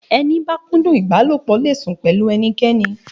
A ibalopo okudun le sun pẹlu enikeni.